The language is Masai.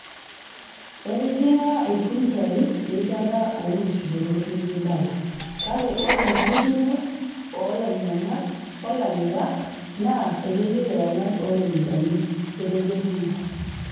"Etijinga ilkunjai erishata oonkisudorot nemeibala, Kake oree enkitutumo oolanyiankak olamirak naa akeyau ewangan ooropiyiani." Etejo ninye.